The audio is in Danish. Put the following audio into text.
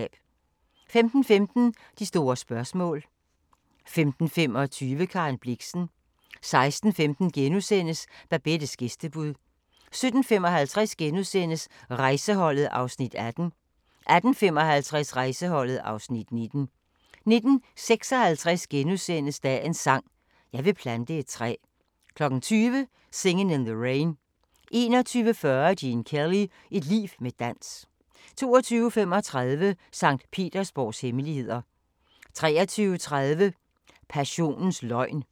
15:15: De store spørgsmål 15:25: Karen Blixen 16:15: Babettes gæstebud * 17:55: Rejseholdet (Afs. 18)* 18:55: Rejseholdet (Afs. 19) 19:56: Dagens sang: Jeg vil plante et træ * 20:00: Singin' in the Rain 21:40: Gene Kelly – et liv med dans 22:35: Sankt Petersborgs hemmeligheder 23:30: Passionens løgn